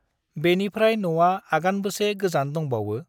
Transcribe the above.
बेनिफ्राय न'आ आगानबसे गोजान दमबावो?